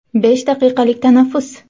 Besh daqiqalik tanaffus.